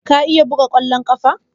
Ka iya buga ƙwallon ƙafa?